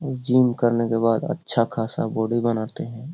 Gym करने के बाद अच्छा-खासा बॉडी बनाते हे ।